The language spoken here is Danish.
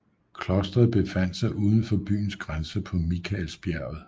Klostret befandt sig uden for byens grænser på Mikaelsbjerget